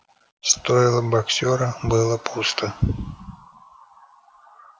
стойло боксёра было пусто